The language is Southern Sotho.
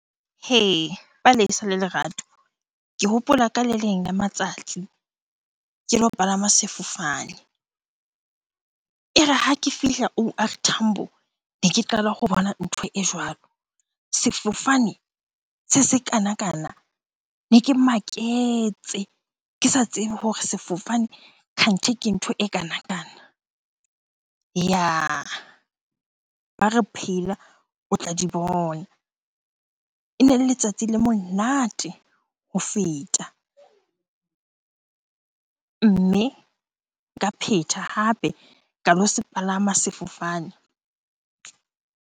Hee! Palesa le Lerato. Ke hopola ka le leng la matsatsi ke lo palama sefofane. E re ha ke fihla O_R Tambo, ne ke qala ho bona ntho e jwalo. Sefofane se sekanakana, ne ke maketse. Ke sa tsebe hore sefofane kganthi ke ntho e kanakana. Yah! Ba re phela o tla di bona. Ene le letsatsi le monate ho feta, mme nka phetha hape ka lo se palama sefofane.